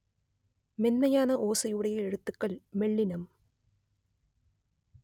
மென்மையான ஓசையுடைய எழுத்துக்கள் மெல்லினம்